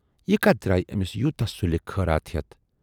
یہِ کتھ درایہِ ٲمِس یوٗتاہ سُلہِ خٲراتھ ہٮ۪تھ۔